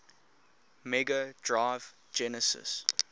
mega drive genesis